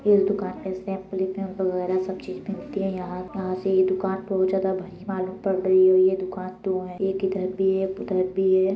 इस दुकान में सब चीज़ बिकती है। यहाँ यहां से ये दुकान बोहोत ज्यादा भरी मालूम पड़ रही हुई है दूकान दो हैं एक इधर भी है एक उधर भी है।